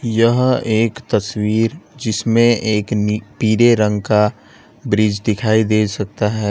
यह एक तस्वीर जिसमें एक नी पीले रंग का ब्रिज दिखाई दे सकता है।